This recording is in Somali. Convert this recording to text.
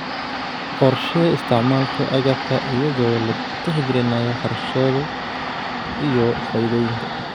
Qorshee isticmaalka agabka iyadoo la tixgelinayo kharashyada iyo faa'iidooyinka.